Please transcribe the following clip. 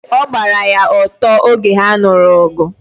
ọ gbara ya ọtọ oge ha nuru ogu